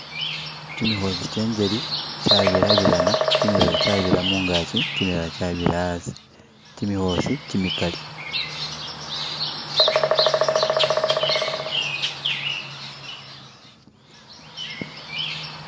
Kyimikhosi kyenjeli kyabirabirana kyimilala kyabira mungakyi kyimilala kyabira hasi kyimikhosi kyimikhali